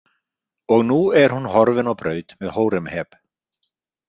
Og nú er hún horfin á braut með Hóremheb.